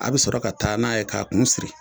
A' be sɔrɔ ka taa n'a ye k'a kun siri